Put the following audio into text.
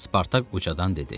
Spartak ucadan dedi.